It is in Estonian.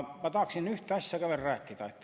Ma tahaksin ühte asja veel rääkida.